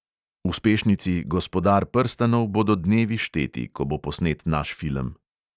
Uspešnici gospodar prstanov bodo dnevi šteti, ko bo posnet naš film.